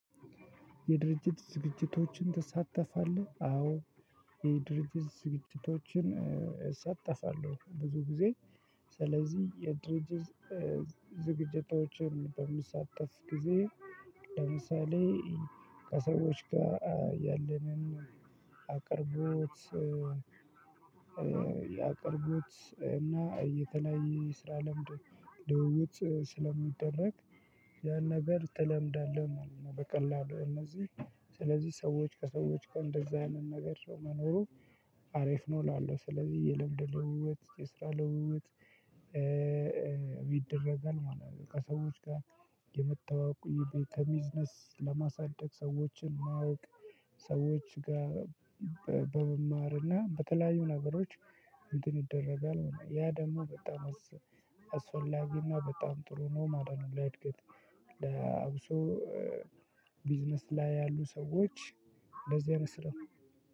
የድርጅት ዝግጅቶችን ትሳተፋለህ አዎ። የድርጅት ዝግጅቶችን እሳተፋለሁ ብዙ ጊዜ ስለዚህ የድርጅት ዝግጅቶችን በምሳተፍ ጊዜ ለምሳሌ ከሰዎች ጋር ያለንን አቅርቦት ያቅርቦት እና የተለያየ ስራ ለምድ ልውውጥ ስለሚደረግ ያን ነገር ትለምዳለህ ማለት ነው። በቀላሉ እነዚህ ስለዚህ ሰዎች ከሰዎች ከእንደዚህ አይነት ነገር ሰው መኖሩ አሪፍ ነው እላለሁ። ስለዚህ የልምድ ለውውጥ የስራ ለውውጥ ይደረጋል ማለት ነው። ከሰዎች ጋር የመተዋወቁ የቤ ቢዝነስ ለማሳደግ ሰዎችን ማወቅ። ሰዎች ጋር በመማርና በተለያዩ ነገሮች እንትን ይደረጋል ያ ደግሞ በጣም አስፈላጊ እና በጣም ጥሩ ነው ማለት ነው። ለእድገት ለአብሶ ቢዝነስ ላይ ያሉ ሰዎች በዚህ አይነት ስራ